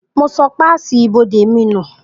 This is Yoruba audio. Mo sọ páàsì ibodè mi nù